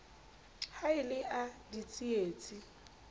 ha e le a ditsietsi